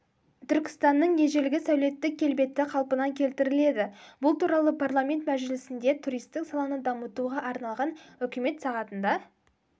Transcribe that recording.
түркістанның ежелгі сәулеттік келбеті қалпына келтіріледі бұл туралы парламент мәжілісінде туристік саланы дамытуға арналған үкімет сағатында